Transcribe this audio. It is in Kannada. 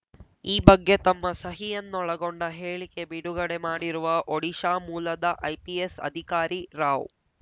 ಈ ಬಗ್ಗೆ ತಮ್ಮ ಸಹಿಯನ್ನೊಳಗೊಂಡ ಹೇಳಿಕೆ ಬಿಡುಗಡೆ ಮಾಡಿರುವ ಒಡಿಶಾ ಮೂಲದ ಐಪಿಎಸ್‌ ಅಧಿಕಾರಿ ರಾವ್‌